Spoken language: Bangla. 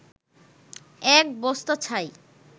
এক বস্তা ছাই